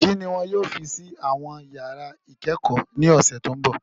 Kí ni wọn yóò fi sí àwọn iyàrá ìkẹ́kọ̀ọ́ ní ọ̀sẹ̀ tó mbọ̀?